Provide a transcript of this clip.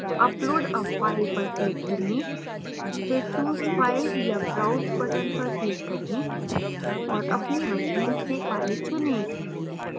upload a file पर click करें फिर choose file या browse button पर click करें और अपनी machine से file चुनें